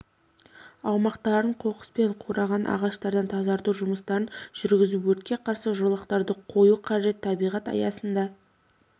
аумақтарын қоқыс пен қураған ағаштардан тазарту жұмыстарын жүргізіп өртке қарсы жолақтарды қою қажет табиғат аясында